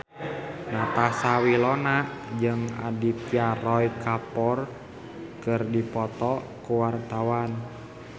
Natasha Wilona jeung Aditya Roy Kapoor keur dipoto ku wartawan